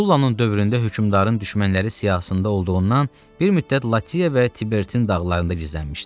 Sullanın dövründə hökmdarın düşmənləri siyahısında olduğundan bir müddət Latiya və Tibertin dağlarında gizlənmişdi.